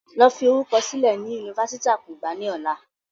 Lọ fi orúkọ sílẹ̀ ni Yunifásítì akungba ni ọ̀la!